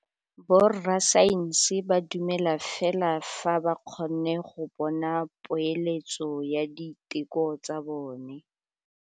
Borra saense ba dumela fela fa ba kgonne go bona poeletsô ya diteko tsa bone.